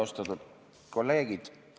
Austatud kolleegid!